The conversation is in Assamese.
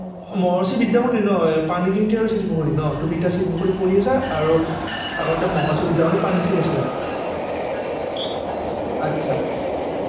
মহৰ্ষি বিদ্যামন্দিৰ ন পানীখাইটি আৰু শিলপুখুৰী ন তুমি এতিয়া শিলপুখুৰীত পঢ়ি আছা আৰু আগতে পানীখাইটিত আছিলা